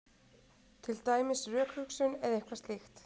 Til dæmis rökhugsun eða eitthvað slíkt.